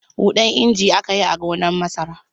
Huɗan injin aka yi a gonar masarar.